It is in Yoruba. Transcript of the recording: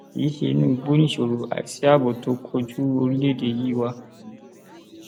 kì í ṣe inú igbó nìṣòro àìsí ààbò tó ń kojú orílẹèdè yìí wá